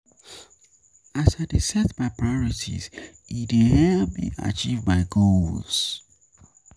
As I dey set my priorities, e dey help me achieve my goals.